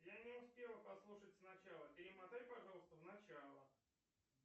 я не успела послушать сначала перемотай пожалуйста в начало